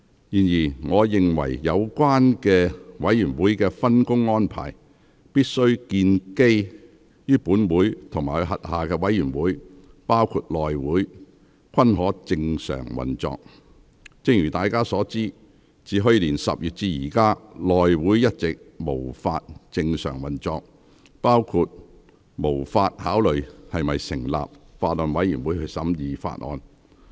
然而，我認為有關委員會的分工安排必須建基於本會及轄下委員會均可正常運作。正如大家所知，自去年10月至今，內會一直無法正常運作，包括無法考慮是否成立法案委員會審議法案。